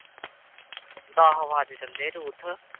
ਦਸ ਵੱਜ ਚੱਲੇ ਰੂਥ।